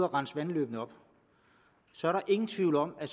rense vandløbene op så er der ingen tvivl om at